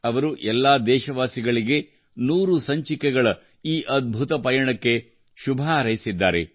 ಅವರು ಎಲ್ಲಾ ದೇಶವಾಸಿಗಳಿಗೆ ನೂರು ಸಂಚಿಕೆಗಳ ಈ ಅದ್ಭುತ ಪಯಣಕ್ಕೆ ಶುಭ ಹಾರೈಸಿದ್ದಾರೆ